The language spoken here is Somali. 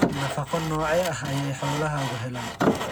Nafaqo noocee ah ayay xoolahaagu helaan?